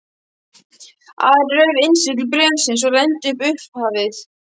Ari rauf innsigli bréfsins og renndi yfir upphafið.